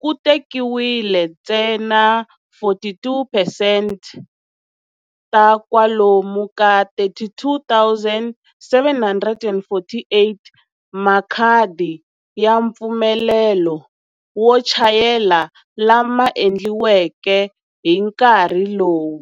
ku tekiwile ntsena 42 percent ta kwalomu ka 32 748 makhadi ya mpfumelelo wo chayela lama endliweke hi nkarhi lowu.